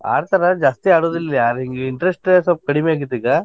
ಆಡ್ತರ ಜಾಸ್ತಿ ಆಡುದಿಲ್ಲ ಯಾರ್ ಹಿಂಗ್ interest ಸ್ವಲ್ಪ್ ಕಡ್ಮಿ ಆಗೇತಿಗ.